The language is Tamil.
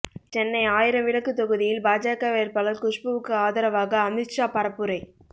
சென்னை ஆயிரம் விளக்கு தொகுதியில் பாஜக வேட்பாளர் குஷ்புவுக்கு ஆதரவாக அமித்ஷா பரப்புரை